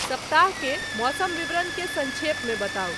सप्ताह के मौसम विवरण के संक्षेप में बताउ ।